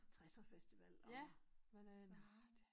60'er festival og sådan noget